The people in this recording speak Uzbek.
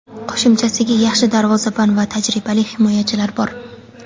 Qo‘shimchasiga yaxshi darvozabon va tajribali himoyachilari bor.